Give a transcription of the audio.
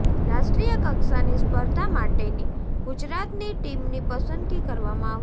રાષ્ટ્રીય કક્ષાની સ્પર્ધા માટેની ગુજરાતની ટીમની પસંદગી કરવામાં આવશે